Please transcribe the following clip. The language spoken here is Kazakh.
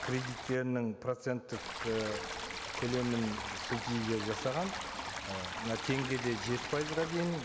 кредиттерінің проценттік і көлемін субсидия жасаған і мына теңгеде жеті пайызға дейін